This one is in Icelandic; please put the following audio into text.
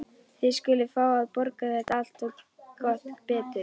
Þið skuluð fá að borga þetta allt. og gott betur!